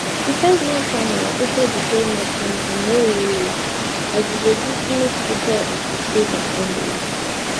di fiveman panel also declare martins amaewhule as di legitimate speaker of di state assembly